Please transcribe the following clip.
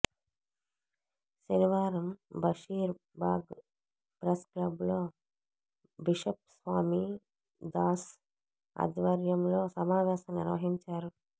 శనివారం Basheer Bagh press club లో bishop Swami Das ఆధ్వర్యంలో సమావేశం నిర్వహించారు